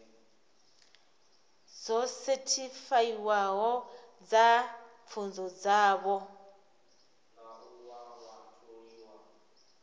dzo sethifaiwaho dza pfunzo dzavho